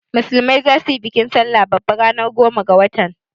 Musulmai zasu yi bikin sallah babba ranar goma ga watan.